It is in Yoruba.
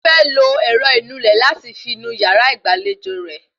Ó fẹ́ lo ẹ̀rọ ìnulẹ̀ láti fi nu yàrá ìgbàlejò rẹ